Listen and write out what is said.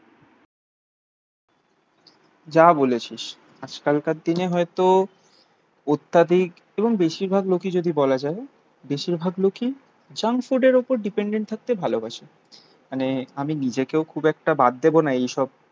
যা বলেছিস. আজকালকার দিনে হয়তো অত্যাধিক এবং বেশিরভাগ লোকই যদি বলা যায় বেশিরভাগ লোকই জাংক ফুডের ওপর ডিপেন্ডেন্ট থাকতে ভালোবাসে মানে আমি নিজেকেও খুব একটা বাদ দেবো না এইসব